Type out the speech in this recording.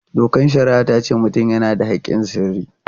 Dokar shari'a ta ce mutum yana da haƙƙin sirri.